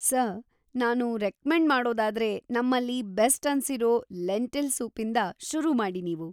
Sir, ನಾನು recommend ಮಾಡೋದಾದ್ರೆ ನಮ್ಮಲ್ಲಿ ಬೆಸ್ಟ್‌ ಅನ್ಸಿರೋ ಲೆಂಟಿಲ್‌ ಸೂಪಿಂದ ಶುರು ಮಾಡಿ ನೀವು.